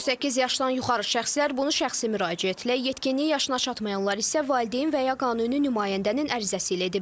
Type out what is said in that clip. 18 yaşdan yuxarı şəxslər bunu şəxsi müraciətlə, yetkinlik yaşına çatmayanlar isə valideyn və ya qanuni nümayəndənin ərizəsi ilə ediblər.